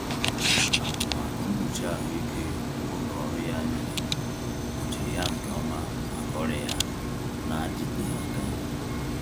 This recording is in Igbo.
Atụmatụ mkpuchi ahụike ụlọ ọrụ ya nyere kpuchiri ya nke ọma maka ọrịa ya na-adịte aka.